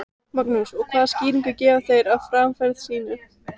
Magnús: Og hvaða skýringu gefa þeir á framferði sínu?